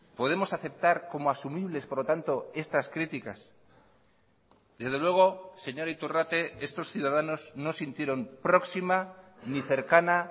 podemos aceptar como asumibles por lo tanto estas críticas desde luego señor iturrate estos ciudadanos no sintieron próxima ni cercana